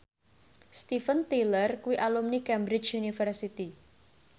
Steven Tyler kuwi alumni Cambridge University